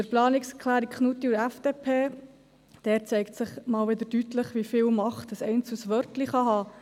Zu den Planungserklärungen Knutti und FDP: Dort zeigt sich wieder einmal deutlich, wie viel Macht ein einzelnes Wörtlein haben kann.